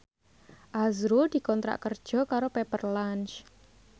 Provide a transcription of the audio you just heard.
azrul dikontrak kerja karo Pepper Lunch